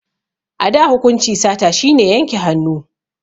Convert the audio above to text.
A da hukunci sata shi ne yanke hannu